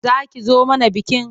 Za ki zo mana bikin?